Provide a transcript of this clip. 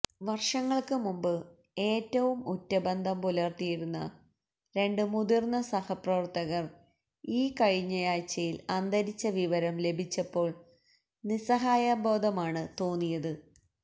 വര്ഷങ്ങള്ക്ക് മുമ്പ് ഏറ്റവും ഉറ്റബന്ധം പുലര്ത്തിയിരുന്ന രണ്ട് മുതിര്ന്ന സഹപ്രവര്ത്തകര് ഈ കഴിഞ്ഞാഴ്ചയില് അന്തരിച്ച വിവരം ലഭിച്ചപ്പോള് നിസ്സഹായതാബോധമാണ് തോന്നിയത്